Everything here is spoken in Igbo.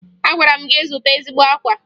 Agwara m gị zụta ezigbo akwa!